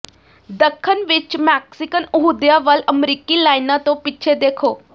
ਦੱਖਣ ਵਿਚ ਮੈਕਸੀਕਨ ਅਹੁਦਿਆਂ ਵੱਲ ਅਮਰੀਕੀ ਲਾਈਨਾਂ ਤੋਂ ਪਿੱਛੇ ਦੇਖੋ